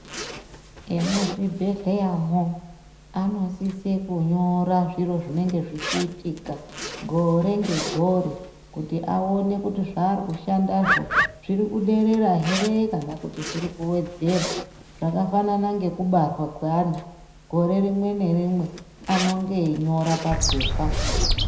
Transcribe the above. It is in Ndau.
Emuzvibhedhleyamwo, anosise kunyora zviro zvinenge zvichiitika, gore ngegore, kuti aone kuti zvaari kushandazvo, zviri kuderera here, kana kuti zviri kuwedzera, zvakafanana ngekubarwa kweana gore rimwe nerimwe anonge einyora mapepa.